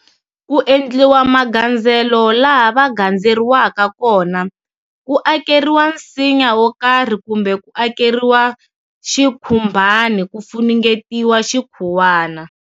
Ku endliwa magandzelo laha va gandzeriwaka kona, ku akeriwa nsinya wo karhi kumbe ku akeriwa xikhumbani ku funengetiwa xikhuwani.